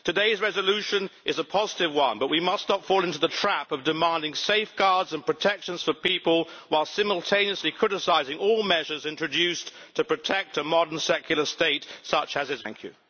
Today's resolution is a positive one, but we must not fall into the trap of demanding safeguards and protection for people while simultaneously criticising all measures introduced to protect a modern secular state such as that of Bangladesh.